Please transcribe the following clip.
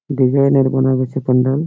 Design এর বানা হয়েছে কুন্দন ।